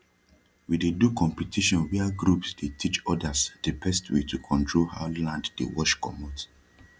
we dey do competition wia groups dey teach odas de best way to control how land dey wash comot